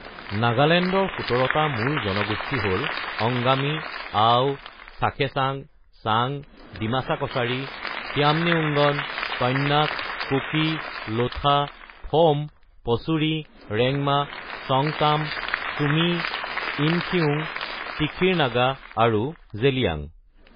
নাগালেণ্ডৰ ১৭টা মূল জনগোষ্ঠী হ’ল অংগামী, আও, চাখেছাং, চাং, ডিমাছা কছাৰী, খিয়ামনিউংগন, কন্যাক, কুকি, লোঠা, ফ’ম, পচুৰী, ৰেংমা, সংগতাম, ছুমি, ইমখিউং, তিখিৰ নাগা আৰু জেলিয়াং।